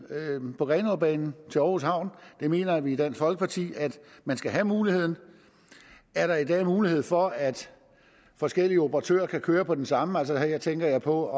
på grenaabanen til aarhus havn der mener vi i dansk folkeparti at man skal have muligheden er der i dag mulighed for at forskellige operatører kan køre på den samme strækning her tænker jeg på at